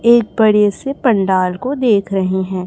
एक बड़े से पंडाल को देख रहे हैं।